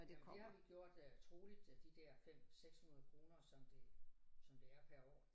Jamen det har vi gjort øh troligt de der 5 600 kroner som det som det er per år